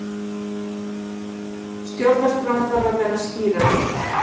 Stjórnarskráin þarf að vera skýrari